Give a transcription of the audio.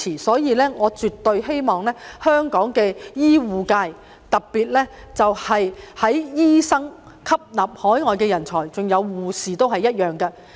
所以，我絕對希望香港的醫護界能吸納海外人才，特別是醫生，護士亦然。